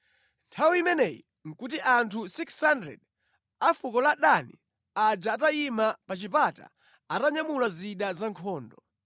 Nthawi imeneyi nʼkuti anthu 600 a fuko la Dani aja atayima pa chipata atanyamula zida za nkhondo.